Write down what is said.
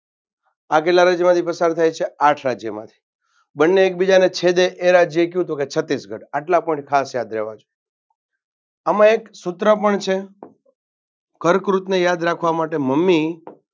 આ કેટલા રાજ્યમાંથી પસાર થાય છે? આઠ રાજ્યમાંથી બંને એક બીજાને છેદે તો એ રાજ્ય કયું તો કે છત્તીસગઢ આટલા point ખાસ યાદ રેવા જોઈએ. આમાં એક સૂત્ર પણ છે કર્કવૃતને યાદ રખાવમાં માટે મમ્મી